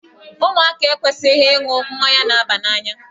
Ụmụaka ekwesịghị ịṅụ mmanya na-aba n'anya.